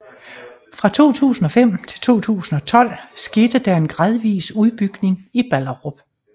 Fra 2005 til 2012 skete der en gradvis udbygning i Ballerup